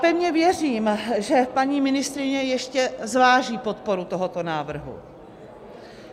Pevně věřím, že paní ministryně ještě zváží podporu tohoto návrhu.